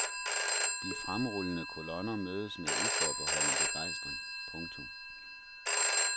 De fremrullende kolonner mødes med uforbeholden begejstring. punktum